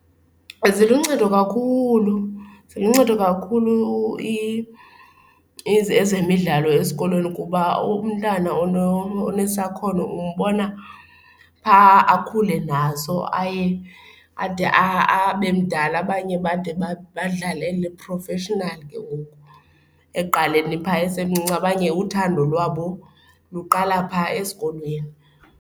Ziluncedo kakhulu, ziluncedo kakhulu ezemidlalo esikolweni kuba umntana onesakhono umbona phaa akhule nawe so aye ade abe mdala. Abanye bade badlalele professionally ke ngoku ekuqaleni phaa esemncinci, abanye uthando lwabo luqala phaa esikolweni.